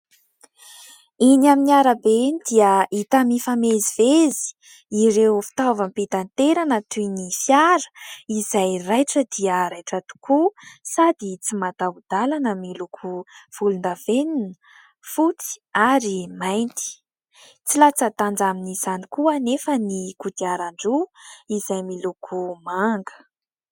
Eny amin'ny arabe eny dia hita mifamezivezy ireo fitaovam-pitanterana toy ny fiara izay raitra dia raitra tokoa sady tsy mataho-dalana miloko volondavenona, fotsy ary mainty. Tsy latsa-danja amin'izany koa anefa ny kodiaran-droa izay miloko manga.